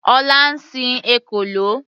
Ọlá ń sin ekòló.